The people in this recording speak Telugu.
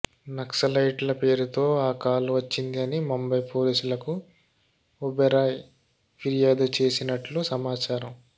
నక్సలైట్ ల పేరుతో ఆ కాల్ వచ్చింది అని ముంబై పోలీసులకు ఒబెరాయ్ ఫిర్యాదు చేసినట్లు సమాచారం